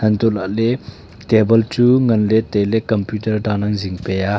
antoh lahley table chu nganley tailai computer dan ang jingpe a.